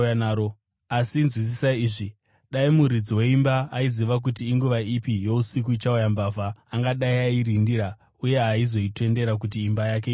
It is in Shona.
Asi nzwisisai izvi: Dai muridzi weimba aiziva kuti inguva ipi yousiku ichauya mbavha, angadai airinda uye haaizotendera kuti imba yake ipazwe.